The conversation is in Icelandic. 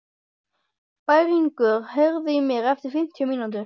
Bæringur, heyrðu í mér eftir fimmtíu mínútur.